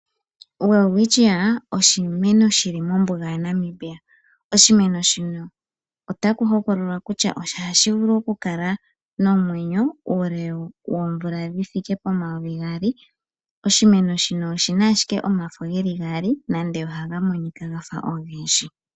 OWelwitschia oshimeno shili mombuga yaNamibia. Oshimeno shino otaku hokololwa kutya ohashi vulu oku kala nomwenyo uule woomvula dhithike pomayovi gaali. Oshimeno shino oshina ashike omafo geli gaali nande ohaga monika gafa ogendji.